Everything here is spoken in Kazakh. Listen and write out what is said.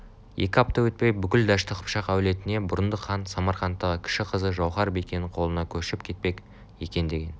екі апта өтпей бүкіл дәшті қыпшақ әулетіне бұрындық хан самарқанттағы кіші қызы жауһар-бикенің қолына көшіп кетпек екен деген